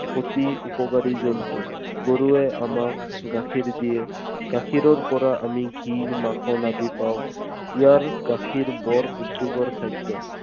অতি উপকাৰী জন্তু। গৰুৱে আমাক গাখীৰ দিয়ে। গাখীৰৰ পৰা আমি ঘী, মাখন আদি পাওঁ। ইয়াৰ গাখীৰ বৰ পুষ্টিকৰ খাদ্য।